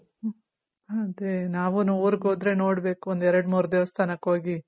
ಅದೇ ನಾವೂನು ಊರ್ಗ್ ಹೋದ್ರೆ ನೋಡ್ಬೇಕು ಒಂದ್ ಎರಡು ಮೂರ್ ದೇವಾಸ್ಥನಕ್ ಹೋಗಿ